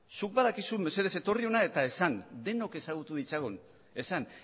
zuk badakizu mesedez etorri hona eta esan denok ezagutu ditzagun esan